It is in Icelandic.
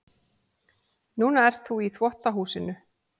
Núna ert þú í þvottahúsinu.